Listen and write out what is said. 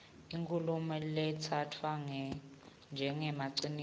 inkhulumo letsatfwa njengemaciniso